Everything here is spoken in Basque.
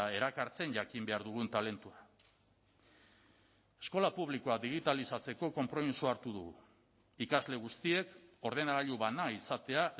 erakartzen jakin behar dugun talentua eskola publikoa digitalizatzeko konpromisoa hartu dugu ikasle guztiek ordenagailu bana izatea